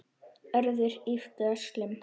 Hörður yppti öxlum.